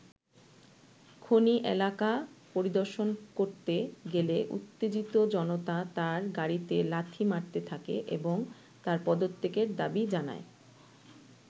খনি এলাকা পরিদর্শন করতে গেলে উত্তেজিত জনতা তাঁর গাড়িতে লাথি মারতে থাকে এবং তার পদত্যাগের দাবি জানায়।